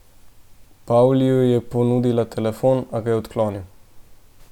Pavliju je ponudila telefon, a ga je odklonil.